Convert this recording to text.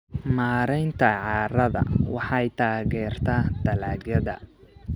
Maareynta carrada waxay taageertaa dalagyada.